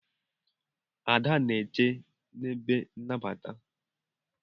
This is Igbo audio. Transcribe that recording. Ada na-eche n'ebe nnabata.